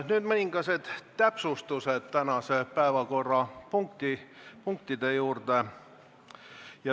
Nüüd mõned täpsused tänaste päevakorrapunktide juurde.